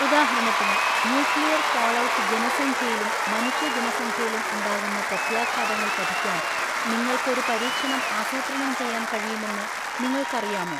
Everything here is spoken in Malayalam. ഉദാഹരണത്തിന് ന്യൂക്ലിയർ ഫാൾഔട്ട് ജനസംഖ്യയിലും മനുഷ്യ ജനസംഖ്യയിലും ഉണ്ടാകുന്ന പ്രത്യാഘാതങ്ങൾ പഠിക്കാൻ നിങ്ങൾക്ക് ഒരു പരീക്ഷണം ആസൂത്രണം ചെയ്യാൻ കഴിയുമെന്ന് നിങ്ങൾക്ക് അറിയാമോ?